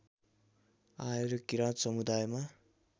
आएर किराँत समुदायमा